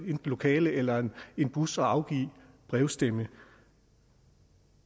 lokale eller en bus og har afgivet brevstemme